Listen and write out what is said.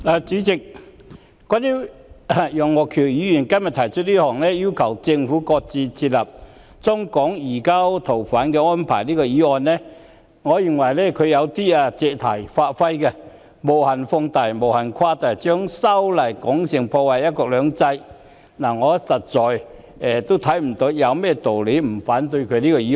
代理主席，對於楊岳橋議員提出這項"要求政府擱置設立中港移交逃犯安排"的議案，我認為他有點借題發揮、無限放大及無限誇大，將修例說成會破壞"一國兩制"，我實在看不到有甚麼道理不反對這項議案。